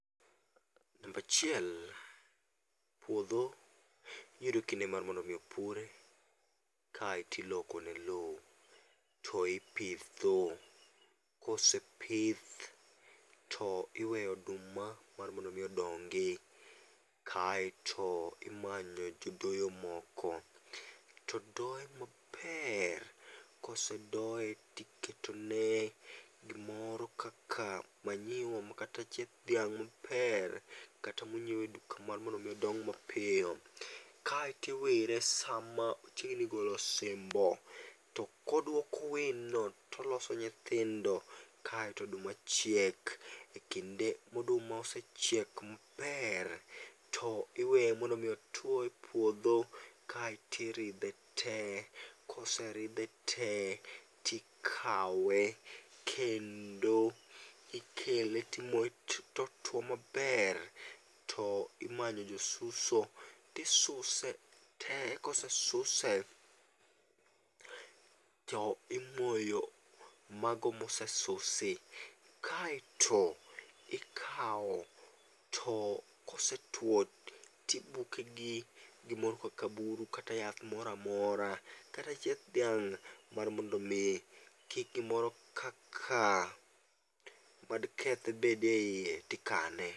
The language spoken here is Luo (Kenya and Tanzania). Number achiel puotho yudo kinde mar mondo mi opure, kaeto ilokone lowo to ipitho, kosepith to iweyo oduma mar mondo omi odongi', kaeto imanyo jodoyo moko to doye maber kosedoye tiketone gimoro kaka manyiwa makata chieth dhiang' maber kata monyiewe duka mar mondo mi odong mapiyo, kaeto iwire sama ochiegni golo osimbo to koduoko wino to oloso nyithindo kaeto oduma chiek, e kinde ma oduma osechiek maber to iweye mar mondo mi otwoye e puotho kaeto irithe te, koserithe te tikawe kendo, ikele timoye to otwo maber to imanyo jo suso ti suse te kose suse to imoyo mago mose susi kaeto ikawo to kosetuo to ibuke gi gimoro kaka buru kata yath moro amora kata chieth dhiang' mar mondo mi kik gimoro kaka mad keth bede hiye tikane.